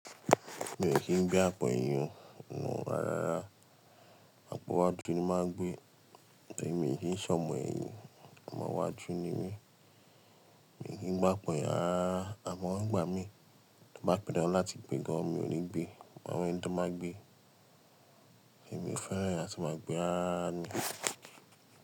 Mi ò kì n gbé àpò eyín o, rárárara. Àpọ́ iwáju ni mo máa n gbe. Torí mi n kìi n ṣe ọmọ ẹyin, ọmọ iwáju ni mi. Mii n kí ń gbe àpò èyin rarara, àmọ́ ngbà mi tó bá pan dandan láti gbé gan-an, mi ò ní gbé. Maa wa ẹni tó máa gbé, ẹmi e fẹ́ràn àti máa gbé rarara.